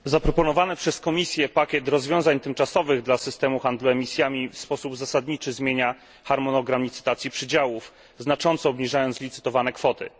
Zaproponowany przez Komisję pakiet rozwiązań tymczasowych dla systemu handlu emisjami w sposób zasadniczy zmienia harmonogram licytacji przydziałów, znacząco obniżając licytowane kwoty.